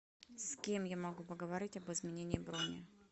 с кем я могу поговорить об изменении брони